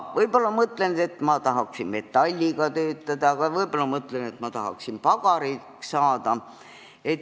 Võib-olla ma tahaksin metalliga töötada, aga võib-olla tahaksin pagariks saada.